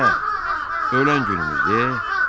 Ayə, ölən günümüzdü e.